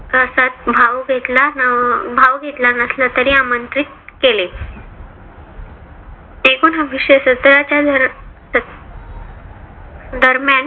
याच्यात भाव घेतला भाव घेतला नसला तरी आमंत्रित केले. एकोनाविशे सतरा च्या दर दर्य्म्यान